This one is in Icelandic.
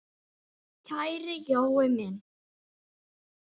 Kæri Jói minn!